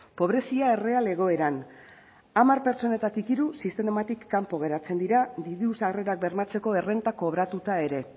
pobrezia erreal egoeran hamar pertsonetatik hiru sistematik kanpo geratzen dira diru sarrerak bermatzeko errenta kobratuta ere